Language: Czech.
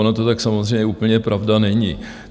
Ono to tak samozřejmě úplně pravda není.